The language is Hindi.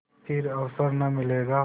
फिर अवसर न मिलेगा